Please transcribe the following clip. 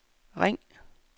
ring